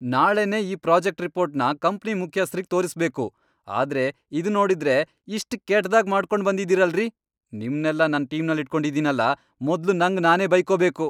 ನಾಳೆನೇ ಈ ಪ್ರಾಜೆಕ್ಟ್ ರಿಪೋರ್ಟ್ನ ಕಂಪ್ನಿ ಮುಖ್ಯಸ್ಥ್ರಿಗ್ ತೋರಿಸ್ಬೇಕು, ಆದ್ರೆ ಇದ್ನೋಡಿದ್ರೆ ಇಷ್ಟ್ ಕೆಟ್ದಾಗ್ ಮಾಡ್ಕೊಂಡ್ಬಂದಿದೀರಲ್ರೀ! ನಿಮ್ನೆಲ್ಲ ನನ್ ಟೀಮಲ್ಲಿಟ್ಕೊಂಡಿದೀನಲ ಮೊದ್ಲು ನಂಗ್ ನಾನೇ ಬೈಕೋಬೇಕು.